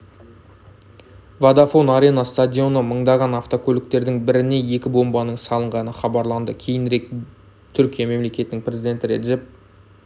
водафон арена стадионы маңындағы авто көліктердің біріне екі бомбаның салынғаны хабарланды кейінірек түркия мемлекетінің президенті реджеп